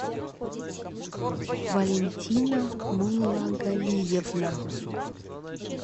валентина муллагалиевна